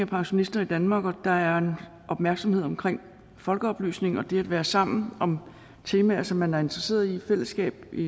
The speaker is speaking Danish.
pensionister i danmark og at der er en opmærksomhed omkring folkeoplysning og det at være sammen om temaer som man er interesseret i fællesskabet i